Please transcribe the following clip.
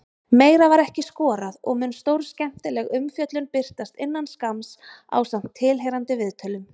Meira var ekki skorað og mun stórskemmtileg umfjöllun birtast innan skamms ásamt tilheyrandi viðtölum.